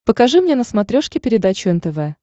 покажи мне на смотрешке передачу нтв